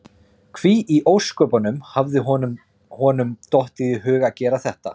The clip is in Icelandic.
Því í ósköpunum hafði honum honum dottið í hug að gera þetta?